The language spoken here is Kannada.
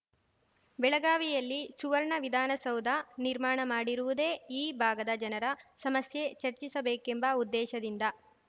ಬೆಳಗಾವಿಯಲ್ಲಿ ಸುವರ್ಣ ವಿಧಾನಸೌಧ ನಿರ್ಮಾಣ ಮಾಡಿರುವುದೇ ಈ ಭಾಗದ ಜನರ ಸಮಸ್ಯೆ ಚರ್ಚಿಸಬೇಕೆಂಬ ಉದ್ದೇಶದಿಂದ